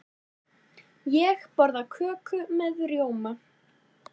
Ég borða köku með rjóma.